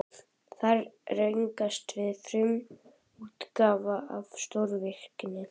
Þar rákumst við á frumútgáfuna af stórvirki